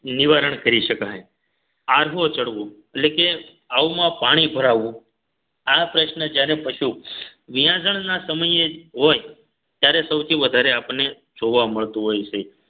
નિવારણ કરી શકાય આરવો ચડવો એટલ કે આવ માં પાણી ભરાવવું આ પ્રશ્ન જ્યારે પશુ વિયાજણના સમયે જ હોય ત્યારે સૌથી વધારે આપને જોવા મળતું હોય છે